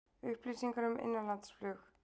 Upplýsingar um innanlandsflug